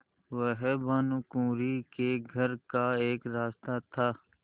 वह भानुकुँवरि के घर का एक रास्ता था